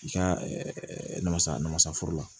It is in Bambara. I ka nasa namasaforo la